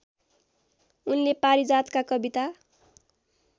उनले पारिजातका कविता